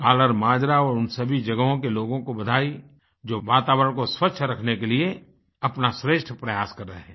कल्लरमाजरा और उन सभी जगहों के लोगों को बधाई जो वातावरण को स्वच्छ रखने के लिए अपना श्रेष्ठ प्रयास कर रहें हैं